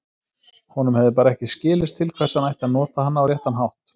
Honum hefði bara ekki skilist til hvers hann ætti að nota hana á réttan hátt.